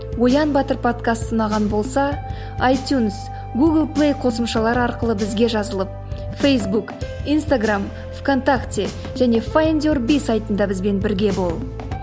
оян батыр подкасты ұнаған болса айтюнс гул плей қосымшалары арқылы бізге жазылып фейсбук инстаграмм в контакте және файндюрби сайтында бізбен бірге бол